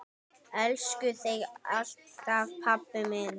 Elska þig alltaf, pabbi minn.